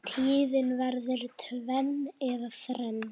Tíðin verður tvenn og þrenn